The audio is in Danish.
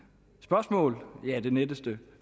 spørgsmål det letteste